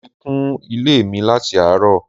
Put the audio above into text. Mo ti kun ilé mi láti àárọ̀